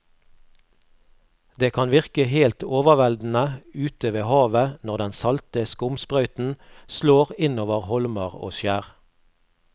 Det kan virke helt overveldende ute ved havet når den salte skumsprøyten slår innover holmer og skjær.